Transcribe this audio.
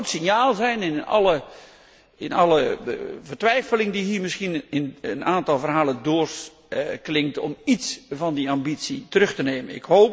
Het zou een fout signaal zijn in alle vertwijfeling die hier misschien in een aantal verhalen doorklinkt om iets van die ambitie terug te nemen.